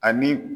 Ani